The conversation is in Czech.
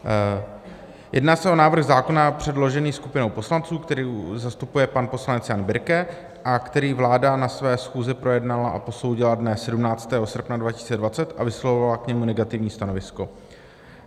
Jedná se o návrh zákona předložený skupinou poslanců, kterou zastupuje pan poslanec Jan Birke a který vláda na své schůzi projednala a posoudila dne 17. srpna 2020 a vyslovila k němu negativní stanovisko.